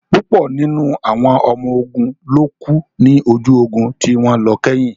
Púpọ̀ nínú àwọn ọmọ ogun ló kú ní ojú ogun tí wọ́n lọ kẹ́yìn